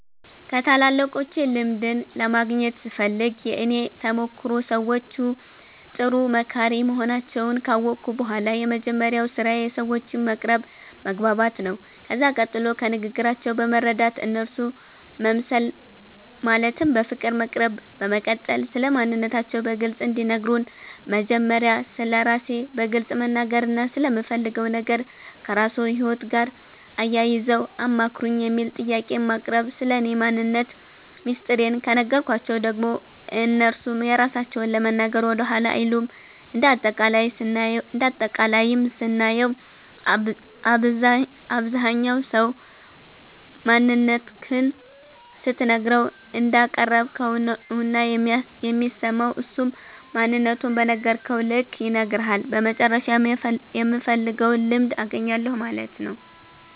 ከታላላቆቼ ልምድን ለማግኘት ስፈልግ የእኔ ተሞክሮ ሰዎቹ ጥሩ መካሪ መሆናቸዉን ካወቅሁ በኋላ የመጀመሪያዉ ስራዬ ሰዎቹን መቅረብ መግባባት ነዉ ከዛ ቀጥሎ ከንግግራቸዉ በመረዳት እነርሱ መምሰል ማለትም በፍቅር መቅረብ በመቀጠል ስለማንነታቸዉ በግልፅ እንዲነግሩን መጀመሪያ ስለራሴ በግልፅ መናገርና ስለምፈልገዉ ነገር ከራስዎ ህይወት ጋር አያይዘዉ አማክሩኝ የሚል ጥያቄን ማቅረብ ስለኔ ማንነት ሚስጥሬን ከነገርኳቸዉ ደግሞ እነርሱም የራሳቸዉን ለመናገር ወደኋላ አይሉም እንደ አጠቃላይም ስናየዉ አብዛኝ ሰዉ ማንነትክን ስትነግረዉ እንዳቀረብከዉ ነዉና የሚሰማዉ እሱም ማንነቱን በነገርከዉ ልክ ይነግርሀል በመጨረሻም የምፈልገዉን ልምድ አገኛለሁ ማለት ነዉ።